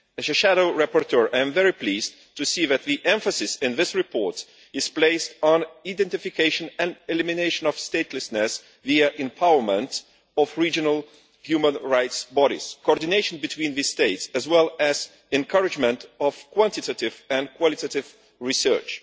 As a shadow rapporteur, I am very pleased to see that the emphasis in the report is on the identification and elimination of statelessness via empowerment of regional human rights bodies, coordination between states, and the encouragement of quantitative and qualitative research.